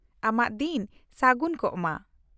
-ᱟᱢᱟᱜ ᱫᱤᱱ ᱥᱟᱹᱜᱩᱱ ᱠᱚᱜ ᱢᱟ ᱾